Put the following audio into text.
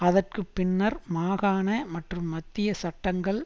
அதற்கு பின்னர் மாகாண மற்றும் மத்திய சட்டங்கள்